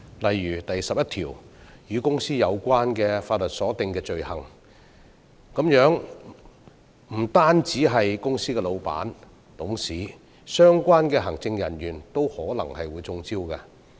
例如第11項"與公司有關的法律所訂的罪行"，不單涉及公司老闆和董事，相關的行政人員都可能會"中招"。